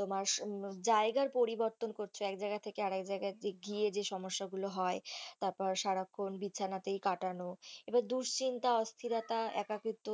তোমার জায়গার পরিবর্তন করছো এক জায়গা থেকে আরেক জায়গায় গিয়ে যে সমস্যা গুলো হয় তারপর সারাক্ষণ বিছানাতেই কাটানো এবার দুশ্চিন্তা, অস্থিরতা, একাকিত্ব